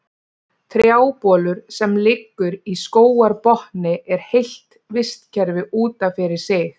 Trjábolur sem liggur í skógarbotni er heilt vistkerfi út af fyrir sig.